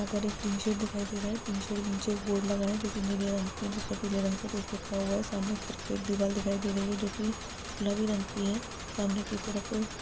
यहाँ पर एक टी शर्ट दिखाई दे रहा है टी शर्ट के नीचे एक बोर्ड लगा है जो की नीले रंग की है जिस पर पीले रंग से कुछ लिखा हुआ है सामने एक दीवार दिखाई दे रही है जो की गुलाबी रंग की है और सामने की तरफ--